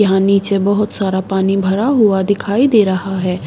यहां नीचे बहुत सारा पानी भरा हुआ दिखाई दे रहा है।